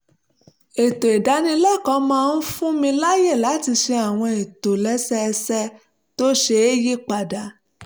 ètò ìdánilẹ́kọ̀ọ́ náà máa ń fún mi láyè láti ṣe àwọn ìtòlẹ́sẹẹsẹ tó ṣeé yí padà